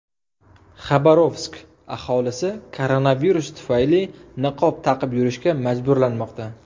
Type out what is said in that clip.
Xabarovsk aholisi koronavirus tufayli niqob taqib yurishga majburlanmoqda.